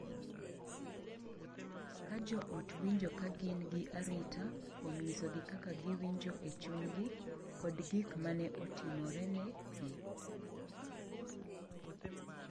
Ka jo ot winjo ka gin gi arita kuom nyisogi kaka giwinjo e chunygi kod gik ma ne otimorene gi,